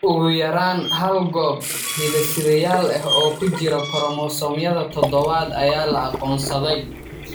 Ugu yaraan hal goob hidde-sidayaal ah oo ku jira koromosoomyada todobad ayaa la aqoonsaday.